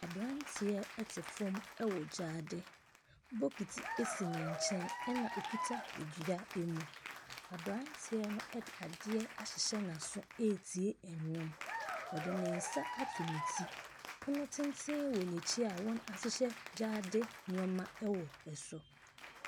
Aberanteɛ ɛte fɔm ɛwɔ gyaade, bokiti esi ne nkyɛn ɛna ɔkita edua emu. Aberanteɛ no ɛde adeɛ ahyehyɛ n'aso eetie ɛnwom. Ɔde ne nsa ato ne ti, pono tenten wɔ n'akyi a wɔn ahyehyɛ gyaade nnoɔma wɔ so.